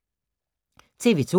TV 2